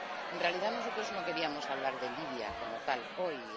En realidad, nosotros no queríamos hablar de Libia como tal hoy.